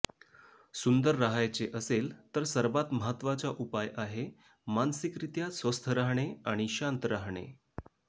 सुंदर राहायचे असेल तर सर्वात महत्त्वाचा उपाय आहे मानसिकरित्या स्वस्थ राहणे आणि शांत राहणे